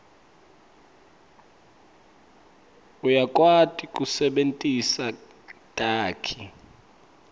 uyakwati kusebentisa takhi